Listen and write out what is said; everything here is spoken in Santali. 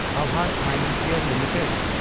AAVAS financial limited